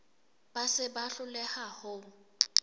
ba se ba hloleha ho